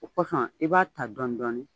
O kosɔn i b'a ta dɔɔnin dɔɔnin.